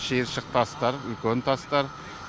шиыршық тастар үлкен тастар